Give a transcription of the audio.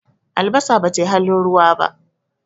Albasa ba ta yi halin ruwa ba.